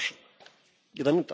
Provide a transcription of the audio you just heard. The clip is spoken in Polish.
Panie Przewodniczący!